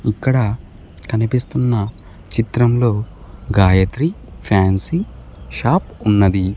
ఇక్కడ కనిపిస్తున్న చిత్రంలో గాయత్రి ఫ్యాన్సీ షాప్ ఉన్నది.